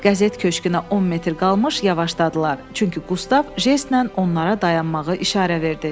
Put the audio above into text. Qəzet köşküünə 10 metr qalmış yavaşladılar, çünki Qustav jestlə onlara dayanmağı işarə verdi.